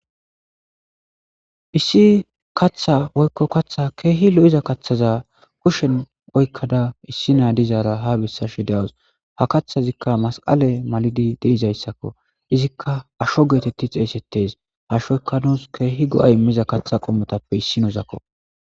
Issi katha woykko kaththa keehi lo7iza kaththaza kushen oykkada issi naadizaara ha bessashe de7awus ha kaththazikka masqale malidi deizayssakko izikka asho geetetti xeeysettes hashoykka nuus keehi go7ay immiza kaththa qomotappe issi nozakko.